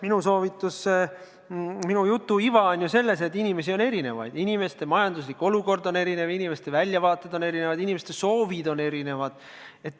Minu jutu iva on selles, et inimesi on erinevaid, inimeste majanduslik olukord on erinev, inimeste väljavaated on erinevad, inimeste soovid on erinevad.